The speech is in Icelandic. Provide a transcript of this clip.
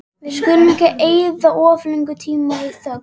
Við skulum ekki eyða of löngum tíma í þögn.